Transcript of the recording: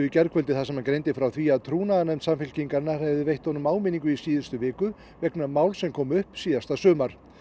í gærkvöldi þar sem hann greindi frá því að trúnaðarnefnd Samfylkingarinnar hefði veitt honum áminningu í síðustu viku vegna máls sem kom upp snemma síðasta sumar